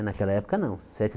Naquela época, não. Sete